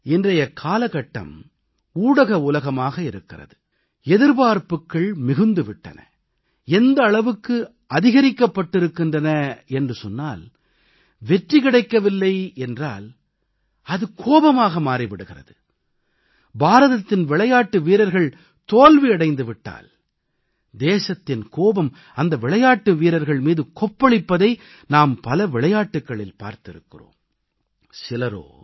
பாருங்கள் இன்றைய காலகட்டம் ஊடக உலகமாக இருக்கிறது எதிர்பார்ப்புகள் மிகுந்து விட்டன எந்த அளவுக்கு அதிகரிக்கப்பட்டிருக்கின்றன என்றால் வெற்றி கிடைக்கவில்லை என்று சொன்னால் அது கோபமாக மாறி விடுகிறது பாரதத்தின் விளையாட்டு வீரர்கள் தோல்வி அடைந்து விட்டால் தேசத்தின் கோபம் அந்த விளையாட்டு வீரர்கள் மீது கொப்பளிப்பதை நாம் பல விளையாட்டுக்களில் பார்த்திருக்கிறோம்